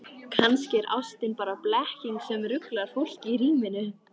Kannski er ástin bara blekking sem ruglar fólk í ríminu.